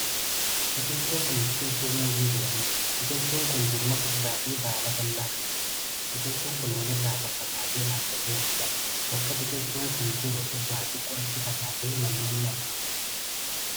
Kun biqiltuu muuzii jedhamuudha. Biqiltuun kun jirma furdaa fi baala babal'aa kan qabuudha. Biqiltuun kun wal irraa faffagaatee dhaabatee argama. Bakka biqiltuun kun jiru irraa xiqqoo achi fagaatee manneen ni argamu.